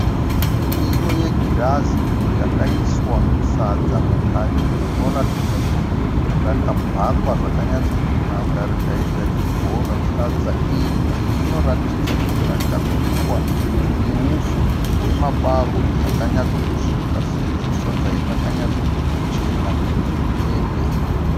Ndiro yegirazi yakaiswa sadza mukati rinoratidza kuti rakabhakwa zvakanyacho kunaka rikaita chibhora, sadza iri rinoratidza kuti rakabikwa neupfu hwemabarwe akanyatso kusvika sezvo sadza iri rakanyatso kuchena kuti mbe mbe.